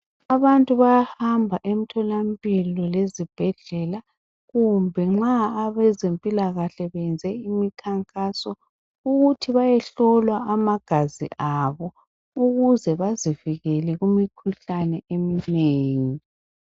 Abantu bayahamba emtholampilo lezibhedlela kumbe nxa abezempilakahle beyenze imikhankaso ukuthi bayehlolwa amagazi abo ukuze bazivikele kumikhuhlane eminengi.